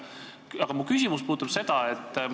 Aga mu küsimus on selline.